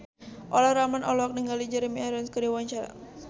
Olla Ramlan olohok ningali Jeremy Irons keur diwawancara